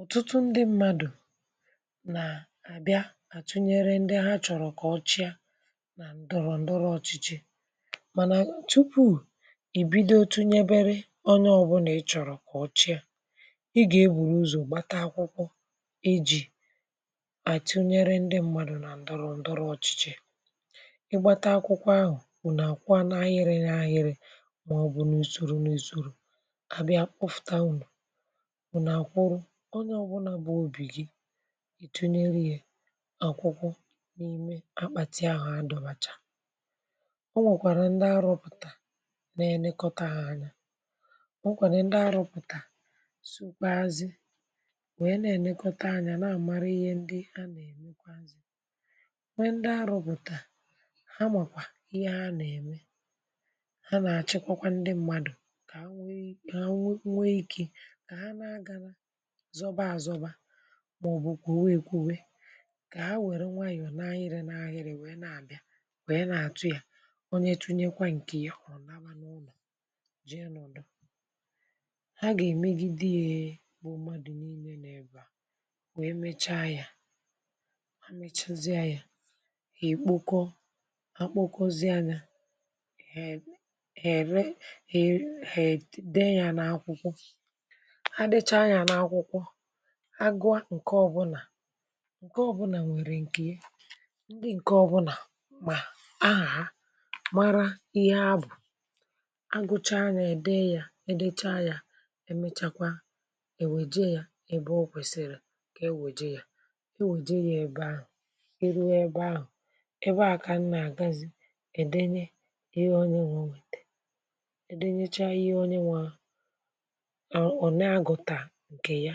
ọ̀tụtụ ndị mmadụ̀ nà àbịa àtụnyere ndị ha chọ̀rọ̀ kà ọchịa nà ǹdọ̀rọ̀ ǹdọrọ ọchịchị mànà tupu̇ ìbido tụnyebere onye ọ̇bụ̇nà ị chọ̀rọ̀ kà ọchịa ị gà-egbùrù ụzọ̀ gbata akwụkwọ ejì àtụnyere ndị mmadụ̀ nà ǹdọ̀rọ̀ ǹdọrọ ọchịchị ị gbata akwụkwọ ahụ̀ ùnù àkwọa n’ahịrị n’ahịrị mà ọ̀ bụ̀ n’ùsòrò n’ùsòrò kà bịa pụfụ̀taunù unu akwụrụ onye ọ̀bụlà bụ òbì gị ị tụnyere yȧ àkwụkwọ n’ime akpàtì ahụ̀ adọ̇bàchà ọ nwèkwàrà ndị arọ̇pụ̀tà na-enekọta hȧ anya ọ nwèkwàrà ndị arọ̇pụ̀tà sukwa azi̇ wèe na-enekọta anyȧ na-àmara ihe ndị ha nà-èmekwa azì nwe ndị arọ̇pụ̀tà ha màkwà ihe ha nà-ème ha nà-àchịkwakwa ndị mmadù kà ha nwee ka ha nwee ike kà ha nȧ-agara zọba azọba maọbụ kwobe ekwobe ka ha were nwaayọọ naghịrị naghịrị wee na-abịa wee na-atụ ya onye tụnyekwa nke ya ọ naba n’ụlọ jee nọdụ ha ga-emegide ya bụ mmadụ nille na-ebe a wee mechaa ya ha mechazịa ya ha ekpoko akpokozie anya ere ere dee ya na akwukwo ha dechaa ya n’akwụkwọ agụa ǹke ọbụnà ǹke ọbụnà nwèrè ǹkè ye ndị ǹke ọbụnà mà ahà ha mara ihe abụ̀ agụcha yȧ ède yȧ edechaa yȧ emechakwa èweje yȧ ebe o kwèsịrị kà e wèje yȧ e wèje yȧ ebe ahụ̀ iru ebe ahụ̀ ebe à kà m nà-àgazị èdenye ihe onye nwe nwètè edenyecha ihe onye nwaà o onaguta nke ya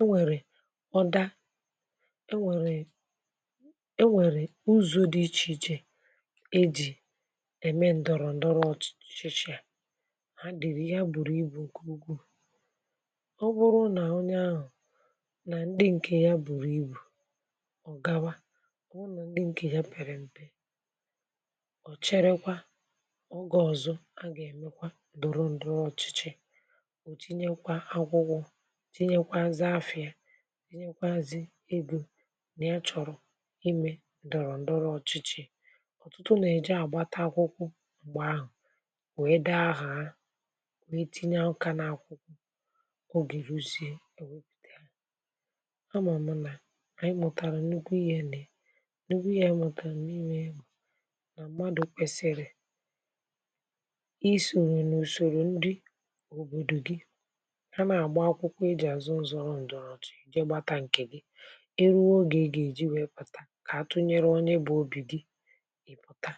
enwèrè ọda enwèrè enwèrè uzọ̇ dị ichè ichè e jì ème ǹdọ̀rọ̀ ǹdọrọ ọ̀chị̀chị̀ a a dìrì ya bùrù ibù ǹkè ugwu ọ bụrụ nà onye ahụ̀ nà ndị ǹkè ya bùrù ibù ọ̀ gawa bụ̀rụ̀ nà ndị ǹkè ya pèrè m̀pe ò cherekwa ọge ọ̀zọ a gà-èmekwa ndọrọ ndọrọ ọ̀chịchị ọ tinyekwa nzafịa tinyenyekwazị ego nà ya chọ̀rọ̀ imė ndọrọ̀ ǹdọrọ̀ ọ̀chịchị̇ ọ̀tụtụ nà-èji àgbata akwụkwọ m̀gbè ahụ̀ wèe dee afa ha wèe tinye nkà n’akwụkwọ ogèruziė e wepụta ya amam na anyị mụtara nnukwu ihe nịa nnukwu ihe anyị mụtara n’ime ya bụ na mmadụ kwesịrị ịsoro n’usoro ndị obodo gị ha na-agba akwụkwọ ịzoro ndoro ọchịchị ke gbata nke gị na-azọ ịrụ̇ oge gà-èji wèe pụ̀ta kà atụnyere onye bụ̀ obì gị ịpụ̀ta